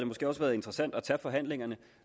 måske også været interessant at tage forhandlingerne